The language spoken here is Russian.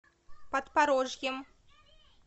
подпорожьем